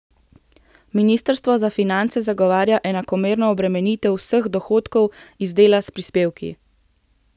Ministrstvo za finance zagovarja enakomerno obremenitev vseh dohodkov iz dela s prispevki.